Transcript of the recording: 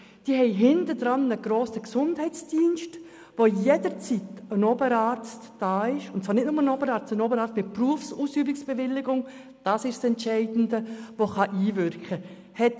Es besteht ein grosser Gesundheitsdienst, sodass jederzeit ein Oberarzt mit Berufsausübungsbewilligung anwesend sein kann.